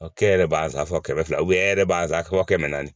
e yɛrɛ b'a sa fɔ kɛmɛ fila e yɛrɛ b'a fɔ kɛmɛ naani